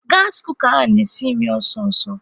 Gas kooka ahụ na-esi nri ọsọ ọsọ